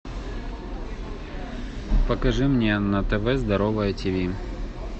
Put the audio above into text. покажи мне на тв здоровое тиви